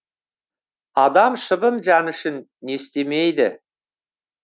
адам шыбын жаны үшін не істемейді